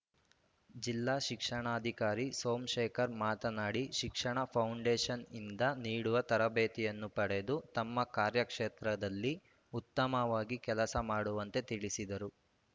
ಜಿಲ್ಲಾ ಶಿಕ್ಷಣಾಧಿಕಾರಿ ಸೋಮಶೇಖರ್‌ ಮಾತನಾಡಿ ಶಿಕ್ಷಣ ಫೌಂಡೇಶನ್‌ನಿಂದ ನೀಡುವ ತರಬೇತಿಯನ್ನು ಪಡೆದು ತಮ್ಮ ಕಾರ್ಯಕ್ಷೇತ್ರದಲ್ಲಿ ಉತ್ತಮವಾಗಿ ಕೆಲಸ ಮಾಡುವಂತೆ ತಿಳಿಸಿದರು